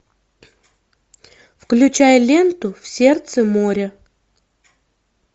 включай ленту в сердце моря